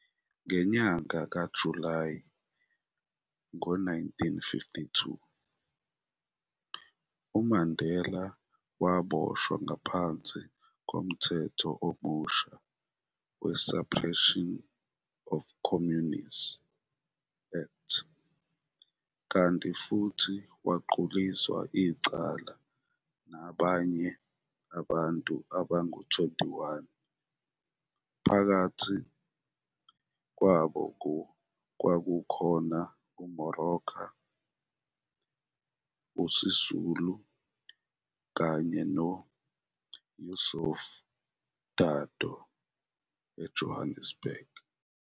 Ngenyanga kaJulayi ngo-1952, uMandela waboshwa ngaphansi komthetho omusha we-Suppression of Communism Act kanti futhi waquliswa icala nabanye abantu abangu 21, phakathi kwabo kwakukhona uMoroka, uSisulu, kanye no-Yusuf Dadoo - eJohannesburg.